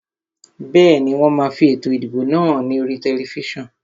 Bẹ́ẹ̀ni, wón máa fi ètò ìdìbò náà hàn ní oríi tẹlifísàn